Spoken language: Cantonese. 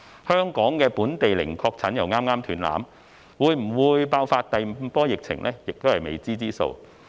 香港本地的零確診剛剛"斷纜"，會否爆發第五波疫情仍是未知之數。